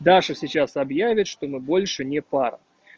даша сейчас объявит что мы больше не пара